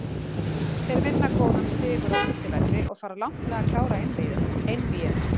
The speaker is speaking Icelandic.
Þeir vinna góðan sigur á útivelli og fara langt með að klára einvígið.